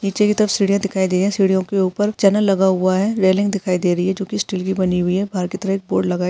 नीचे की तरफ सिडिया दिखाई दिए सीडियों के ऊपर चनल लगा हुआ है रेलिंग दिखाई दे रही है जो की स्टील की बनी हुई है बाहर की तरफ एक बोर्ड लगा --